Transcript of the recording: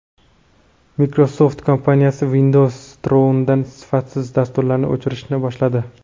Microsoft kompaniyasi Windows Store’dan sifatsiz dasturlarni o‘chirishni boshladi.